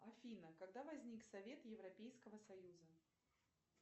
афина когда возник совет европейского союза